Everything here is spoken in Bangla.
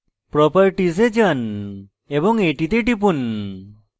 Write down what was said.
properties এ যান এবং এটিতে টিপুন